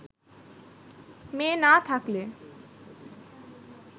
মেয়ে না থাকলে